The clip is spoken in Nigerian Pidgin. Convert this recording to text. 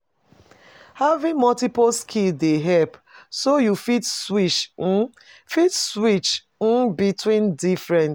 Having multiple skills dey help, so you fit switch between different.